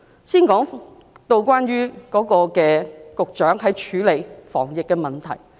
先談談局長處理防疫的問題。